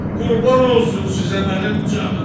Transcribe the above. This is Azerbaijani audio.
Qurban olsun sizə mənim canım.